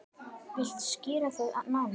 Viltu skýra það nánar?